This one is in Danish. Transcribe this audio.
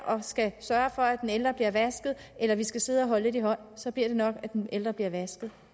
og skal sørge for at den ældre bliver vasket eller de skal sidde og holde lidt i hånd så bliver det nok at den ældre bliver vasket